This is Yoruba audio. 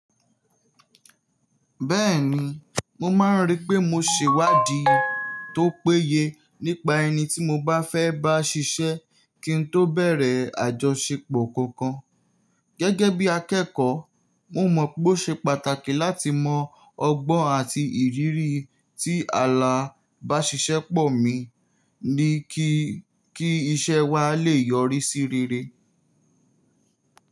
Bẹ́ẹ̀ni, mo máa ń rí pé mo ṣèwádìí tó péye nípa ẹni tí mo bá fẹ́ bá ṣiṣẹ́ kí n tó bẹ̀rẹ̀ àjọṣepọ̀ kankan. Gẹ́gẹ́ bí akẹ́kọ̀ọ́, mo mọ̀ pé ó ṣe pàtàkì láti mọ ọgbọ́n àti ìrírí tí alabáṣiṣẹ́pọ̀ mí ní kí, kí iṣẹ́ wa lè yọrí sí rere.